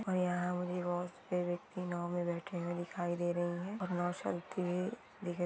और इहा मुझे बहुत सारे व्यक्ति नायों में बैठे हुए दिखाई दे रही है और साल के लिए--